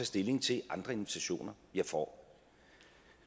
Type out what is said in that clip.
stilling til andre invitationer jeg får